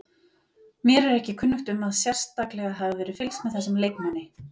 Mér er ekki kunnugt um að sérstaklega hafi verið fylgst með þessum leikmanni.